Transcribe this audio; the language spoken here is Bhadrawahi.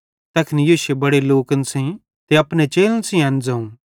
तैखन यीशुए बड़े लोकन सेइं ते अपने चेलन सेइं एन ज़ोवं